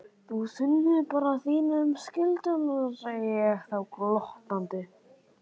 Þú sinnir bara þínum skyldum, segði ég þá glottandi.